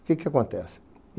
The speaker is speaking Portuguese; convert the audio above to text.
O que que acontece?